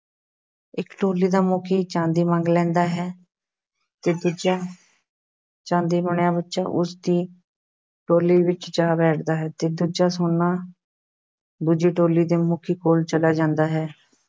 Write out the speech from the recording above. ਇੱਕ ਟੋਲੀ ਦਾ ਮੁੱਖੀ ਚਾਂਦੀ ਮੰਗ ਲੈਂਦਾ ਹੈ ਤੇ ਦੂਜਾ ਚਾਂਦੀ ਬਣਿਆ ਬੱਚਾ ਉਸਦੀ ਦੀ ਟੋਲੀ ਵਿੱਚ ਜਾ ਬੈਠਦਾ ਹੈ ਤੇ ਦੂਜਾ ਸੋਨਾ ਦੂਜੀ ਟੋਲੀ ਦੇ ਮੁਖੀ ਕੋਲ ਚਲਿਆ ਜਾਂਦਾ ਹੈ।